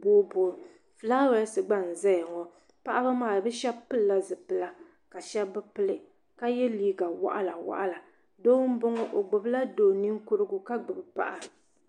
boo booi filaawaasi gba n zaya ŋɔ paɣaba maa bɛ sheba pirila zipila ka sheba bi pili ka ye liiga waɣala waɣila doo m boŋɔ o gbibila do'ninkurugu ka gbibi paɣa.